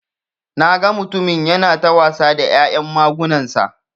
Naga mutumin yana ta wasa da ya'yan magunansa.